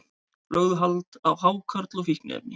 Lögðu hald á hákarl og fíkniefni